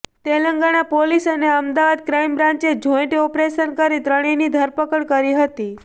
Telangana police અને Ahmedabad crime બ્રાંચેે joint operation કરી ત્રણેયની ધરપકડ કરી હતી